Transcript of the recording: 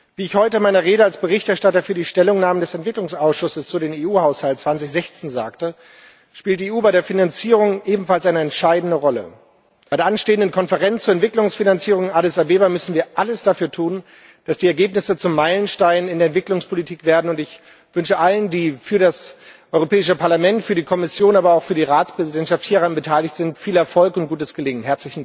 Wie ich heute in meiner Rede als Berichterstatter für die Stellungnahme des Entwicklungsausschusses zu dem EU Haushalt 2016 sagte, spielt die EU bei der Finanzierung ebenfalls eine entscheidende Rolle. Bei der anstehenden Konferenz zur Entwicklungsfinanzierung in Addis Abeba müssen wir alles dafür tun, dass die Ergebnisse zu Meilensteinen in der Entwicklungspolitik werden. Ich wünsche allen, die für das Europäische Parlament, für die Kommission, aber auch für die Ratspräsidentschaft hieran beteiligt sind, viel Erfolg und gutes Gelingen!